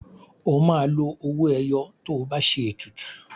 O máa lo owó ẹyọ tó bá ṣe ètùtù.